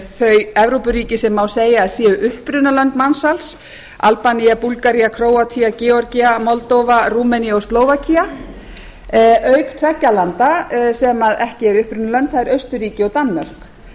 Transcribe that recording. þau evrópuríki sem má segja að séu upprunalönd mansals albanía búlgaría króatía georgía moldóva rúmenía og slóvakía auk tveggja landa sem ekki eru upprunalönd það eru austurríki og danmörk